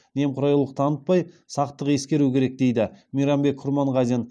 немқұрайлық танытпай сақтық ескеру керек дейді мейрамбек құрманғазин